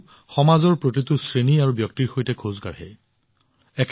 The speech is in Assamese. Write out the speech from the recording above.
ঈশ্বৰেও সমাজৰ প্ৰতিটো শ্ৰেণী আৰু ব্যক্তিৰ সৈতে খোজ কাঢ়ে